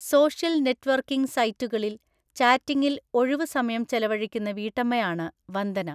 Social networking സൈറ്റുകളിൽ ചാറ്റിംഗിൽ ഒഴിവു സമയം ചെലവഴിക്കുന്ന വീട്ടമ്മയാണ് വന്ദന.